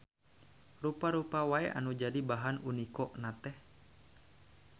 Rupa-rupa wae nu jadi bahan uniko na teh.